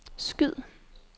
skyd